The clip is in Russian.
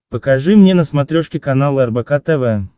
покажи мне на смотрешке канал рбк тв